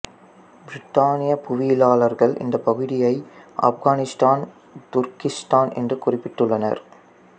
பிரித்தானிய புவியியலாளர்கள் இந்த பகுதியை ஆப்கானிஸ்தான் துர்க்கிஸ்தான் என குறிப்பிட்டுள்ளனர்